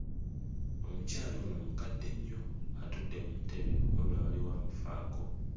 Omukyala ono mukadde nnyo atudde mu ntebe wabula waliwo amufaako.